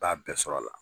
B'a bɛɛ sɔrɔ a la